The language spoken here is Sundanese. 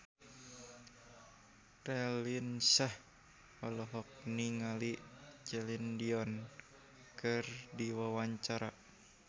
Raline Shah olohok ningali Celine Dion keur diwawancara